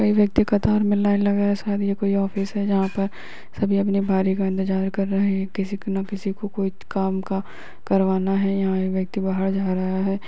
कई व्यक्ति कतार में लाइन लगाए। शायद ये कोई ऑफिस है जहाँ पर सभी अपनी बारी का इंतज़ार कर रहे हैं। किसी के न किसी को कोइ काम का करवाना है। यहाँ एक व्यक्ति बाहर जा रहा है।